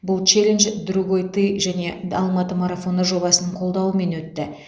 бұл челендж другойты және алматы марафоны жобасының қолдауымен өтті